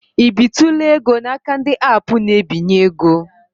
I bitụla ego n'aka ndị aapụ na-ebinye ego?